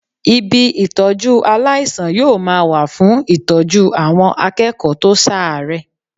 Ibi Ìtọ́jú aláìsàn yóò ma wà fún Ìtọ́jú àwọn akẹ́kọ̀ọ́ tó ṣàárẹ̀.